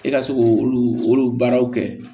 E ka se k'olu olu baaraw kɛ